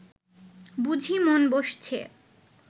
বুঝি মন বসছে